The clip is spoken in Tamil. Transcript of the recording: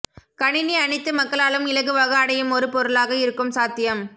கணினி அனைத்து மக்களாலும் இலகுவாக அடையுமொரு பொருளாக இருக்கும் சாத்தியம்